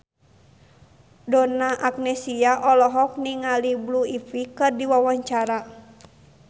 Donna Agnesia olohok ningali Blue Ivy keur diwawancara